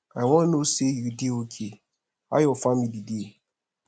i wan know say you dey okay how your family dey